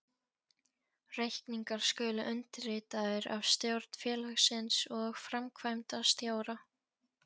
Reikningar skulu undirritaðir af stjórn félagsins og framkvæmdastjóra.